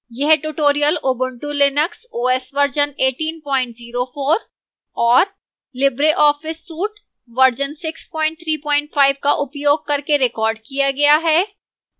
यह tutorial ubuntu linux os version 1804 और libreoffice suite version 635 का उपयोग करके recorded किया गया है